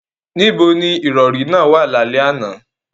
Níbo ni ìrọ̀rí náà wà lálẹ́ àná?